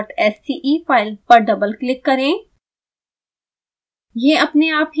proportional dot sce file पर double click करें